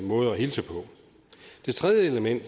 hilse på det tredje element